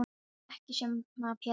En þér er ekki sama Pétur.